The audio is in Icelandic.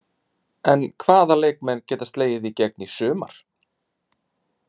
En hvaða leikmenn geta slegið í gegn í sumar?